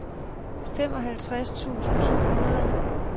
femoghalvtreds tusind to hundrede